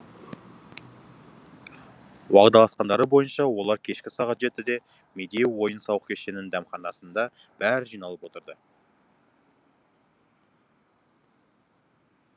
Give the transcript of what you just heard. уағдаласқандары бойынша олар кешкі сағат жетіде медеу ойын сауық кешенінің дәмханасында бәрі жиналып отырды